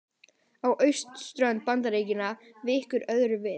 Á austurströnd Bandaríkjanna víkur öðru við.